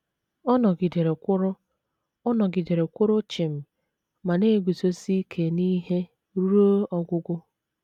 Ọ nọgidere kwụrụ Ọ nọgidere kwụrụ chịm ma na - eguzosi ike n’ihe ruo ọgwụgwụ.